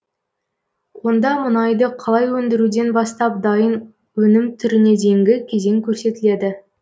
онда мұнайды қалай өндіруден бастап дайын өнім түріне дейінгі кезең көрсетіледі